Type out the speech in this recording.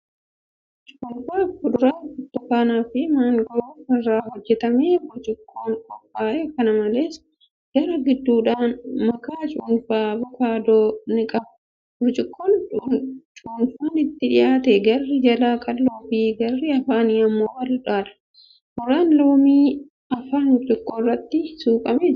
Cuunfaa fuduraa burtukaana fi maangoo irraa hojjatamee burcuqqoon qophaa'e. Kana malees, garaa gidduudhaa makaa cuunfaa avookaadoo ni qaba. Burcuqqoon cuunfaan itti dhiyaate garri jalaa qal'oo fi garri afaanii immoo bal'aadha. Muraan loomii afaan burcuqqoo irratti suuqqamee jira.